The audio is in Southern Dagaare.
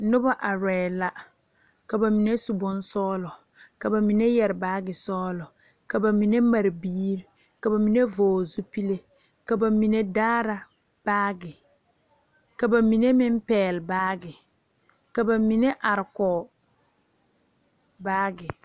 Nobɔ arɛɛ la ka ba mine su bonsɔglɔ ka ba mine yɛre baagi sɔglɔ ka ba mine mare biire ka ba mine vɔgle zupile ka ba mine daara baagi ka ba mine meŋ pɛgle baagi ka ba mine are kɔge baagi.